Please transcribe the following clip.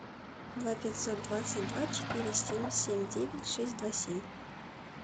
два пятьсот двадцать два четыре семь семь девять шесть два семь